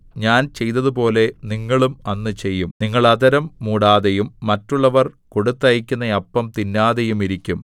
ഞാൻ ചെയ്തതുപോലെ നിങ്ങളും അന്ന് ചെയ്യും നിങ്ങൾ അധരം മൂടാതെയും മറ്റുള്ളവർ കൊടുത്തയയ്ക്കുന്ന അപ്പം തിന്നാതെയും ഇരിക്കും